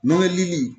Nɔnɔdili